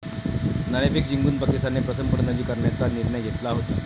नाणेफेक जिंकून पाकिस्तानने प्रथम फलंदाजी करण्याचा निर्णय घेतला होता.